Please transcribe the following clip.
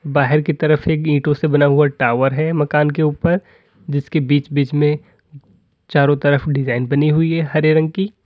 बाहर की तरफ से एक ईटों से बना हुआ टावर है मकान के ऊपर जिसके बीच बीच में चारों तरफ डिजाइन बनी हुई है हरे रंग की।